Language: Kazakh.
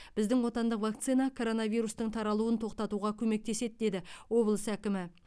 біздің отандық вакцина коронавирустың таралуын тоқтатуға көмектеседі деді облыс әкімі